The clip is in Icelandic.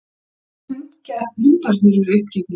Jafnvel hundarnir urðu uppgefnir.